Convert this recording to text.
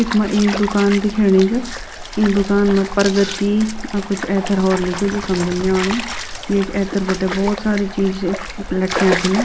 इखमा एक दुकान दिखेणि च ई दुकान मा प्रगति अ कुछ एथर होर लिख्यूं जु समझन नि आणु येक एथर बटे भौत सारी चीज लटक्याँ छिन।